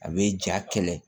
A bɛ ja kɛlɛ